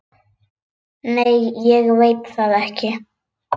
Nei ég veit það ekki.